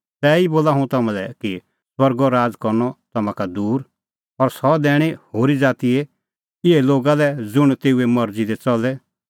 तैही बोला हुंह तम्हां लै कि स्वर्गो राज़ करनअ तम्हां का दूर और सह दैणअ होरी ज़ातीए इहै लोगा लै ज़ुंण तेऊए मरज़ी दी च़ले